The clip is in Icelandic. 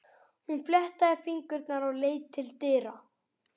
Hún fléttaði fingurna og leit til dyra.